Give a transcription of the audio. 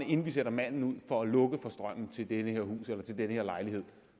inden de sender manden ud for at lukke for strømmen til det her hus eller den her lejlighed